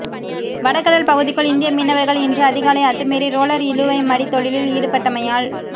வடகடல் பகுதிக்குள் இந்திய மீனவர்கள் இன்று அதிகாலை அத்துமீறி ரோளர் இழுவைமடித் தொழிலில் ஈடுபட்டடமையால்